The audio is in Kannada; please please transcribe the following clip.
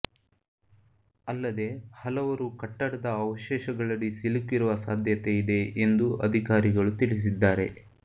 ಅಲ್ಲದೆ ಹಲವರು ಕಟ್ಟಡದ ಅವಶೇಷಗಳಡಿ ಸಿಲುಕಿರುವ ಸಾಧ್ಯತೆ ಇದೆ ಎಂದು ಅಧಿಕಾರಿಗಳು ತಿಳಿಸಿದ್ದಾರೆ